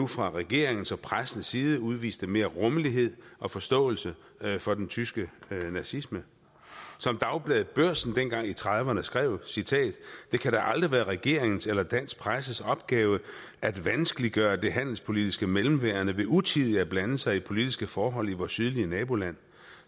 fra regeringens og pressens side udviste mere rummelighed og forståelse for den tyske nazisme som dagbladet børsen dengang i nitten trediverne skrev det kan da aldrig være regeringens eller dansk presses opgave at vanskeliggøre det handelspolitiske mellemværende ved utidigt at blande sig i politiske forhold i vort sydlige naboland